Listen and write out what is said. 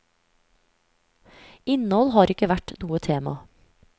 Innhold har ikke vært noe tema.